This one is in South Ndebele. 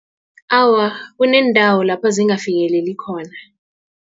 Awa, kuneendawo lapha zingafikeleli khona.